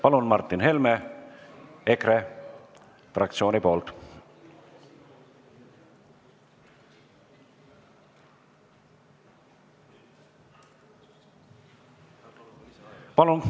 Palun, Martin Helme EKRE fraktsiooni nimel!